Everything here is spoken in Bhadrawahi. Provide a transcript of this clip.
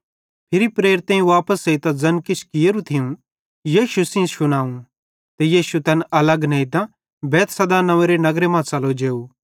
फिरी प्रेरितेईं वापस एइतां ज़ैन किछ कियेरू थियूं यीशु सेइं शुनावं ते यीशु तैन अलग नेइतां बैतसैदा नव्वेंरे नगर मां च़लो जेव